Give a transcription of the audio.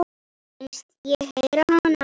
Finnst ég heyra hana.